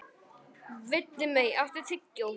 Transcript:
Villimey, áttu tyggjó?